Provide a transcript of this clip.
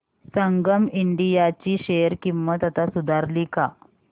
संगम India ची share किंमत आता सुधारली का